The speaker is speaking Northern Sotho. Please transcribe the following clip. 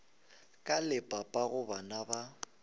ka le papago bana ba